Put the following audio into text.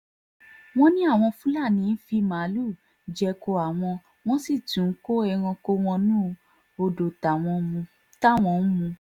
wọ́n ní àwọn fúlàní ń fi màálùú jẹko àwọn wọ́n sì tún ń kó ẹranko wọnú odò táwọn ń mu